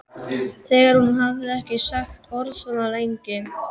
Þegar hún hafði ekki sagt orð svona lengi.